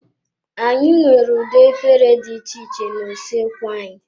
Anyị nwere ụdị efere dị iche iche na usoekwu anyị.